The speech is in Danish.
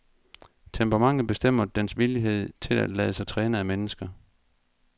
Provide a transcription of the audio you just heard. Temperamentet bestemmer dens villighed til at lade sig træne af mennesker.